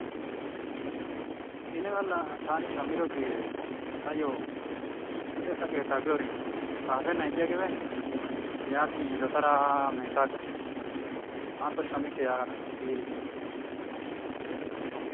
hin galla taani shammidi biire taayyo luxetta keetta biyoorin xaafenan ixxi aggibeene, yaatin yiilotada mentta agaas. naa''antto shammike yaagada, biiriyaa.